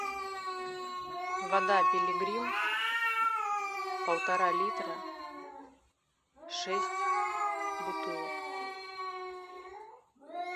вода пилигрим полтора литра шесть бутылок